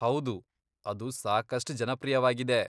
ಹೌದು, ಅದು ಸಾಕಷ್ಟ್ ಜನಪ್ರಿಯವಾಗಿದೆ.